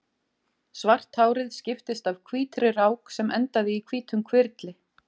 Svart hárið skiptist af hvítri rák sem endaði í hvítum hvirfli.